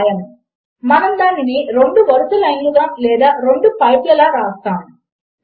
ఇప్పుడు దీనిని ఒకసారి చూద్దాము 1 కంటే 1 పెద్దది అయినట్లు అయితే తప్పు మరియు మనము తప్పు అని వ్రాసాము లేదా 1 కి 1 సమానము అవుతుంది